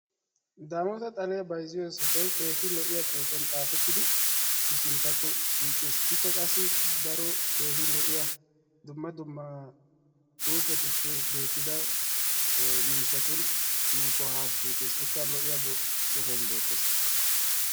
Daamotta xalliyaa bayzziyo sohoy keehi lo“iyaa xuupiyan xaapettidi sinttakko shiiqis, ikka qassi daro keehi lo”iya dumma dumma xupettuppe beetidda mishshattuni nuukko haa shiiqqis， ikka lo”iyaa sohuwaan beettes.